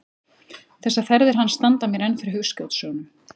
Þessar ferðir hans standa mér enn fyrir hugskotssjónum.